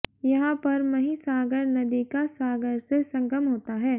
यहां पर महिसागर नदी का सागर से संगम होता है